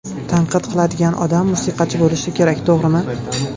Tanqid qiladigan odam musiqachi bo‘lishi kerak to‘g‘rimi?